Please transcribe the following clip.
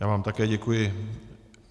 Já vám také děkuji.